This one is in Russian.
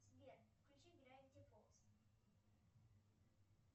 сбер включи гравити фолз